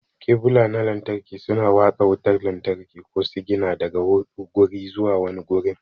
Kebul na lantarki suna watsa wutar lantarki ko sigina daga guri zuwa wani gurin.